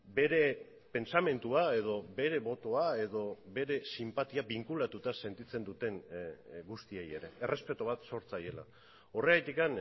bere pentsamendua edo bere botoa edo bere sinpatia binkulatuta sentitzen duten guztiei ere errespetu bat zor zaiela horregatik